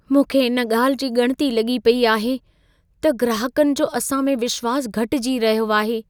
मूंखे इन ॻाल्हि जी ॻणिती लॻी पेई आहे त ग्राहकनि जो असां में विश्वास घटिजी रहियो आहे।